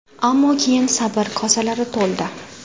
Ammo keyin sabr kosalari to‘ldi.